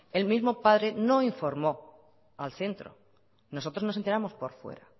el mismo padre no informó al centro nosotros nos enteramos por fuera